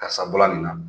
Karisa bɔla nin na